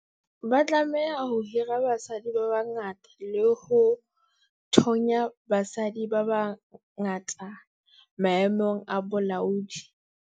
Ba tlameha ho hira basadi ba bangata le ho thonya basadi ba bangata maemong a bolaodi.